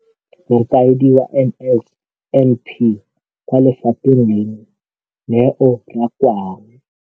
Mokaedi wa NSNP kwa lefapheng leno, Neo Rakwena,